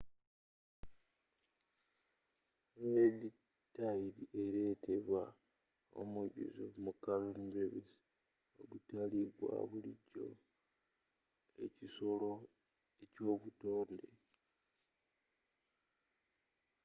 red tide eretebwa omujjuzo mu karen brevis ogutali gwa bulijjo ekisolo eky'obutonde